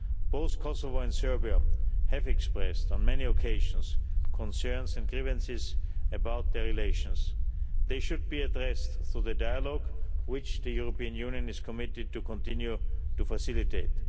Both Kosovo and Serbia have expressed on many occasions concerns and grievances about their relations. They should be addressed through the dialogue which the European Union is committed to continue to facilitate.